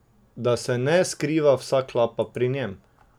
Da se ne skriva vsa klapa pri njem?